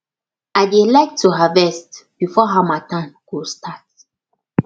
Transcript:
i dey like to harvest before harmattan go start